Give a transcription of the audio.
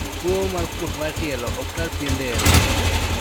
Tuo mar kuot mar tielo oktar pien del.